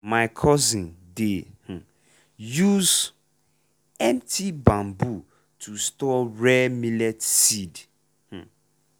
my cousin dey um use empty bamboo to store rare millet seed. um